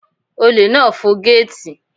Olè náà fọ gẹ́ẹ̀tì.